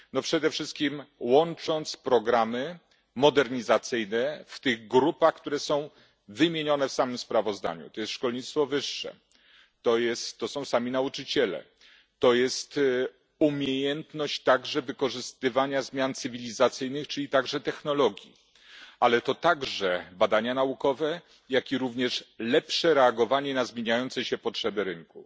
No przede wszystkim łącząc programy modernizacyjne w tych grupach, które są wymienione w samym sprawozdaniu, to jest szkolnictwo wyższe, to są sami nauczyciele, to jest umiejętność także wykorzystywania zmian cywilizacyjnych, czyli także technologii, ale to także badania naukowe, jak i również lepsze reagowanie na zmieniające się potrzeby rynku.